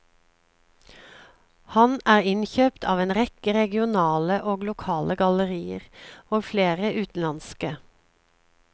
Han er innkjøpt av en rekke regionale og lokale gallerier, og flere utenlandske.